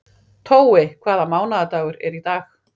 Tói, hvaða mánaðardagur er í dag?